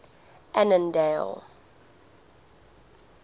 annandale